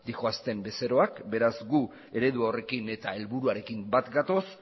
dihoazten bezeroak beraz gu eredu horrekin eta helburuarekin bat gatoz